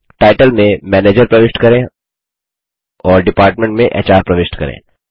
title में manager प्रविष्ट करें और डिपार्टमेंट में एचआर प्रविष्ट करें